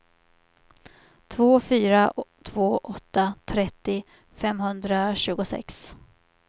två fyra två åtta trettio femhundratjugosex